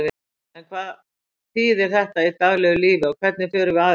En hvað þýðir þetta í daglegu lífi og hvernig förum við eftir þessu?